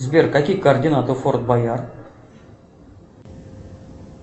сбер какие координаты у форт боярд